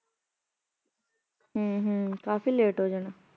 ਹਮ ਹਮ ਕਾਫ਼ੀ late ਹੋ ਜਾਣਾ।